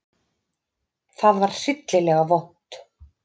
Það var hryllilega vont.